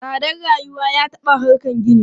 Tsadar rayuwa ya taɓa harkan gini.